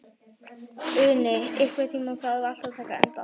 Uni, einhvern tímann þarf allt að taka enda.